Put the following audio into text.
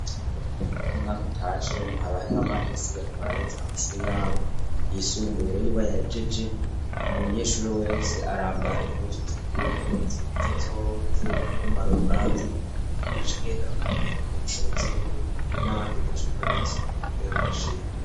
K'umwaka utashe abanyeshure bariko baraheza amashure yabo yisumbuye umunyeshure wese arambara impuzu zikwiye kandi nziza zose zo kumara urubanza akagendarb akama inonebusabotsi y'iw ari n'abandi beshi ukura n'imisi mikuru mwere wa nashiye.